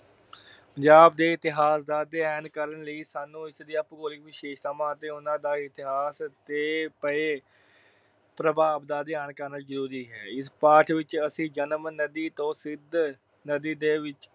ਪੰਜਾਬ ਦੇ ਇਤਿਹਾਸ ਦਾ ਅਧਿਐਨ ਕਰਨ ਲਈ ਸਾਨੂੰ ਇਸ ਦੀਆਂ ਭੂਗੋਲਿਕ ਵਿਸ਼ੇਸ਼ਤਾਵਾਂ ਅਤੇ ਉਹਨਾਂ ਦਾ ਇਤਿਹਾਸ ਤੇ ਪਏ ਪ੍ਰਭਾਵ ਦਾ ਅਧਿਐਨ ਕਰਨਾ ਜਰੂਰੀ ਹੈ। ਇਸ ਪਾਠ ਵਿੱਚ ਅਸੀਂ ਜੇਹਲਮ ਨਦੀ ਤੋਂ ਸਿੰਧ ਨਦੀ ਦੇ ਵਿਚ